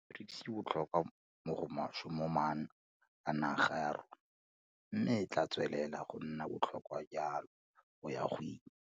BRICS e botlhokwa mo go maswe mo maanong a naga ya rona, mme e tla tswelela go nna botlhokwa jalo go ya go ile.